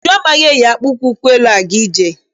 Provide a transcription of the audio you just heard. Uju amaghị eyi akpụkpọ ụkwụ elu-aga ije.